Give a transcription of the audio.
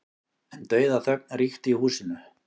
En dauðaþögn ríkti í húsinu.